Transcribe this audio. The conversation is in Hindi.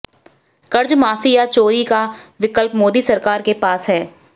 कर्जमाफी या चोरी का विक्लप मोदी सरकार के पास है